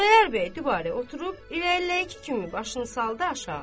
Xudayar bəy dübarə oturub, irəliləyəki kimi başını saldı aşağı.